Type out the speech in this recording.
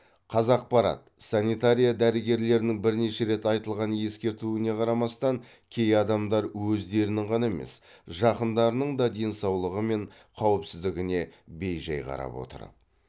қазақпарат санитария дәрігерлерінің бірнеше рет айтылған ескертуіне қарамастан кей адамдар өздерінің ғана емес жақындарының да денсаулығы мен қауіпсіздігіне бейжай қарап отыр